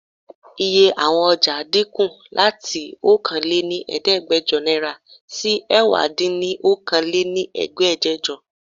Iye àwọn ọ̀jà dínkù láti Okòó lé ní Ẹ̀ẹ́dẹ́gbẹjọ náírà sì ẹwà din ni Okòó lé ní Ẹ̀ẹ́dẹ́gbẹjọ.